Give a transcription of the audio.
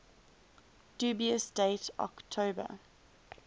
dubious date october